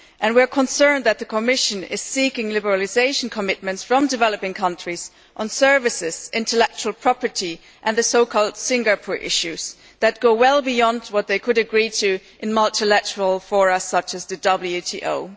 We are concerned that the Commission is seeking liberalisation commitments from developing countries on services, intellectual property and the so called Singapore issues' that go well beyond what they would agree to in multilateral fora such as the WTO.